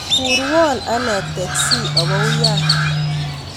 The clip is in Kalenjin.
Kurwon ane teksi awo uyan